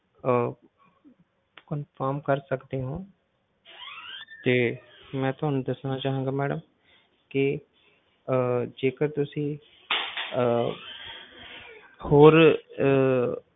ਅਹ confirm ਕਰ ਸਕਦੇ ਹੋ ਤੇ ਮੈਂ ਤੁਹਾਨੂੰ ਦੱਸਣਾ ਚਾਹਾਂਗਾ madam ਕਿ ਆਹ ਜੇਕਰ ਤੁਸੀਂ ਆਹ ਹੋਰ ਅਹ